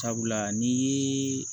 Sabula ni ye